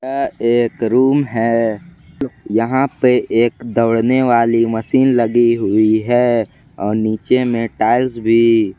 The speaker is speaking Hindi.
यह एक रूम है यहां पे एक दौड़ने वाली मशीन लगी हुई है और नीचे में टाइल्स भी।